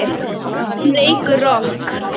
Hún leikur rokk.